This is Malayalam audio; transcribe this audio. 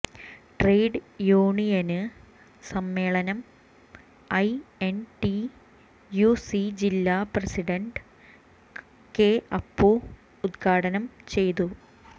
ട്രേഡ് യൂനിയന് സമ്മേളനം I N T U C ജില്ലാ പ്രസിഡന്റ് കെ അപ്പു ഉദ്ഘാടനം ചെയ്തു